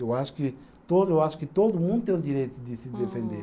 Eu acho que todo, eu acho que todo mundo tem o direito de se defender.